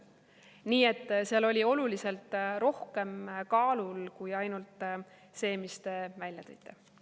Nii et seal oli oluliselt rohkem kaalul kui ainult see, mis te välja tõite.